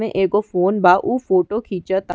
मे एगो फ़ोन बा उ फोटो खींचता।